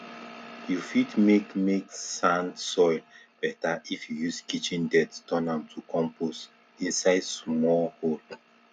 you fit make make sand soil better if you use kitchen dirt turn am to compost inside small hole